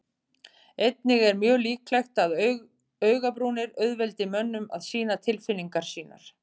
Einnig er mjög líklegt að augabrúnir auðveldi mönnum að sýna tilfinningar sínar.